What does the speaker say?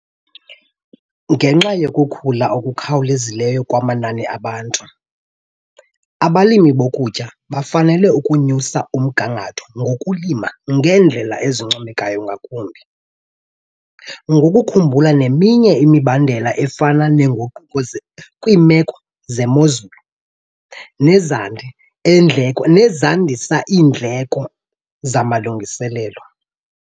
Ngenxa yokukhula okukhawulezayo kwamanani abantu, abalimi bokutya bafanele ukunyusa umgangatho ngokulima ngeendlela ezincomeka ngakumbi, ngokukhumbula neminye imibandela efana nenguquko kwiimeko zemozulu nezandisa iindleko zamalungiselelo.